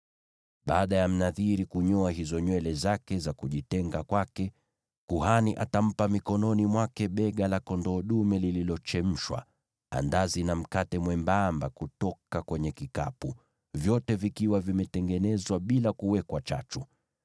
“ ‘Baada ya Mnadhiri kunyoa hizo nywele zake za kujitenga kwake, kuhani atampa mikononi mwake bega la kondoo dume lililochemshwa, na pia andazi na mkate mwembamba kutoka kwenye kikapu, vyote vikiwa vimetengenezwa bila kuwekwa chachu.